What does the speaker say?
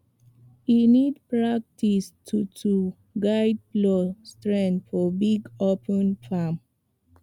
e need practice to to guide plow straight for big open farm